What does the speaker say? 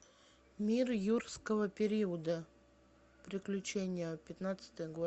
мир юрского периода приключения пятнадцатый год